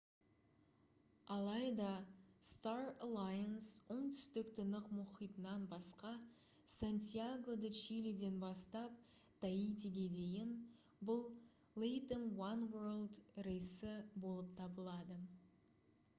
алайда star alliance оңтүстік тынық мұхитынан басқа сантьяго-де-чилиден бастап таитиге дейін бұл latam oneworld рейсі болып табылады